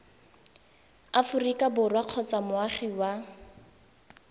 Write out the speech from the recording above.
aforika borwa kgotsa moagi wa